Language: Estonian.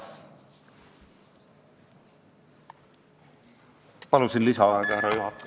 Ma palusin lisaaega, härra juhataja.